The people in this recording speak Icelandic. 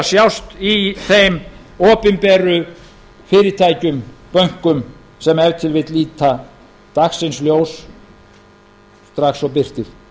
sjást í þeim opinberu fyrirtækjum bönkum sem ef til vill líta dagsins ljós strax og birtir